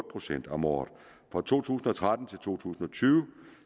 procent om året fra to tusind og tretten til to tusind og tyve